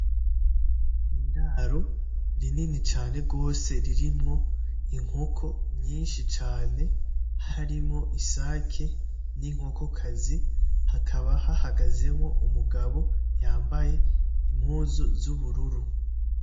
Niraro rinini cane rwose, ririmwo inkoko nyinshi cane harimwo isake, ninkokokazi. Hakaba hahagazemwo umugabo yambaye impuzu zubururu.